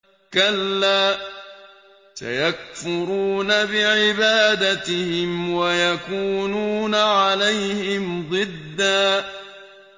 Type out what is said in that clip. كَلَّا ۚ سَيَكْفُرُونَ بِعِبَادَتِهِمْ وَيَكُونُونَ عَلَيْهِمْ ضِدًّا